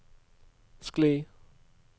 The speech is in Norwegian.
skli